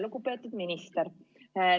Lugupeetud minister!